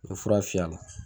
O ye fura fiyɛ a la